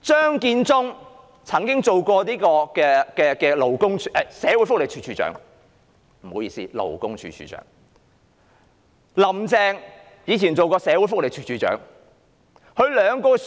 張建宗曾擔任勞工處處長，"林鄭"以往亦曾擔任社會福利署署長，他們兩人也是